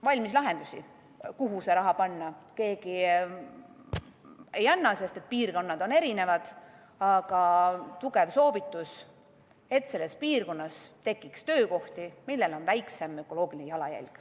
Valmislahendusi, kuhu see raha panna, keegi ei anna, sest piirkonnad on erinevad, aga antakse tugev soovitus, et selles piirkonnas tekiks töökohti, millel on väiksem ökoloogiline jalajälg.